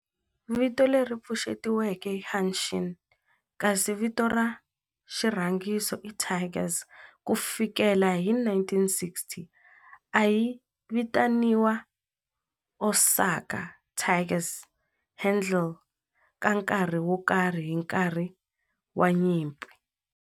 Vito leri pfuxetiweke i Hanshin kasi vito ra xirhangiso i Tigers. Ku fikela hi 1960, a yi vitaniwa Osaka Tigers handle ka nkarhi wo karhi hi nkarhi wa nyimpi.